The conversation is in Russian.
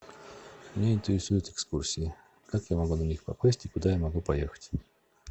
меня интересуют экскурсии как я могу на них попасть и куда я могу поехать